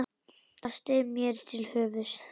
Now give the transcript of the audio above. Það steig mér til höfuðs.